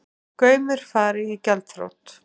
Gaumur fari í gjaldþrot